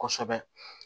Kosɛbɛ